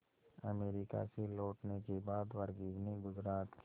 America से लौटने के बाद वर्गीज ने गुजरात के